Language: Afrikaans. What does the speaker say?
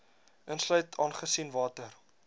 insluit aangesien water